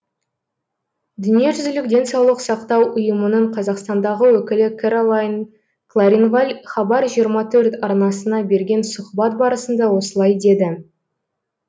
дүниежүзілік денсаулық сақтау ұйымының қазақстандағы өкілі кэролайн кларинваль хабар жиырма төрт арнасына берген сұхбат барысында осылай деді